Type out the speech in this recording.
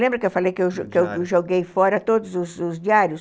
Lembra que eu falei que eu joguei fora todos os diários?